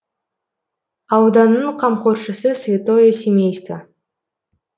ауданның қамқоршысы святое семейство